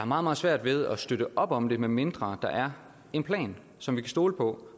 meget meget svært ved at støtte op om det medmindre der er en plan som vi kan stole på